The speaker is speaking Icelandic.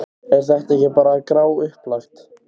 Er þetta ekki bara gráupplagt?